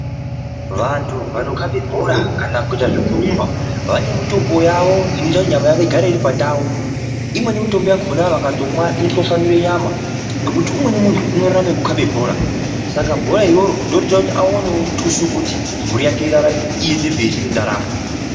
Vantu vanokabe bhora kana kuite zvekurumba vane mitombo yavo inoita kuti nyama yavo igare iri pandau imweni mitombo yakona vakatomwa inotwasanure nyama ngekuti umweni muntu unorarame ngekukabe bhora saka bhora iroro ndorinoita kuti awanewo mutuso unoite kuti mburi yaje irarame aenderere mberi nendaramo.